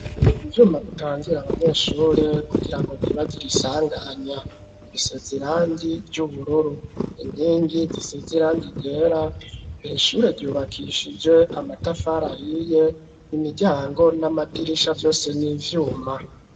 Ivyuma bitangira abanyeshuri kugira ngo ntibagire isanganya ,bisez'irangi ry'ubururu ,inkingi zisez'irangi ryera ,irishure ryubakishije amatafari ahiye, imiryango n'amadirisha vyose n'ivyuma.